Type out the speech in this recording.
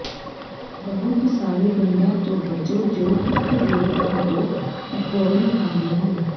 ਬਹੁਤ ਸਾਰੇ ਗੰਢਾਂ ਤੋਂ ਬਚੋ ਜੋ ਓਕ ਦੇ ਰੁੱਖਾਂ ਤੋਂ ਐਕੋਰਨ ਖਾਂਦੇ ਹਨ